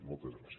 moltes gràcies